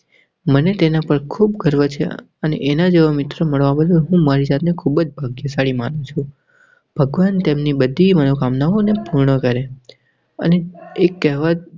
મને તેના પર ખૂબ ગર્વ છે અને એના જેવા મિત્ર મળવા માટે હું મારી જાતને ખૂબ જ ભાગ્યશાળી માનું છું. ભગવાન તેમની બધી મનોકામનાઓને પૂર્ણ કરે. એક કહેવત.